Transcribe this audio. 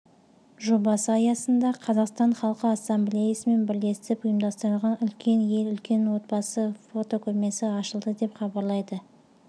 жобасы аясында қазақстан халқы ассамблеясымен бірлесіп ұйымдастырылған үлкен ел үлкен отбасы фотокөрмесі ашылды деп хабарлайды